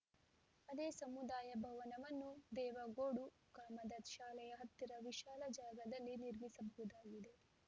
ಅದೇ ಸಮುದಾಯ ಭವನವನ್ನು ದೇವಗೋಡು ಗ್ರಾಮದ ಶಾಲೆಯ ಹತ್ತಿರ ವಿಶಾಲ ಜಾಗದಲ್ಲಿ ನಿರ್ಮಿಸಬಹುದಾಗಿದೆ